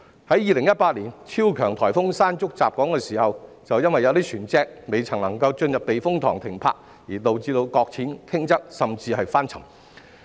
在2018年超強颱風"山竹"襲港時，便有船隻因未能進入避風塘停泊而導致擱淺、傾側甚至翻沉。